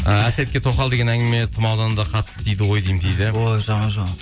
і әсетке тоқал деген әңгіме тұмаудан да қатты тиді ғой деймін дейді ой жаман жаман